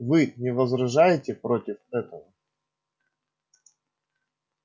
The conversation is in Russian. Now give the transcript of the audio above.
вы не возражаете против этого